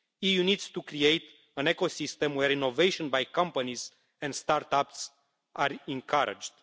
The EU needs to create an ecosystem where innovation by companies and start-ups are encouraged.